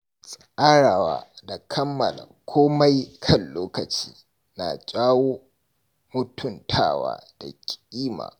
Tsarawa da kammala komai kan lokaci na jawo mutuntawa da ƙima.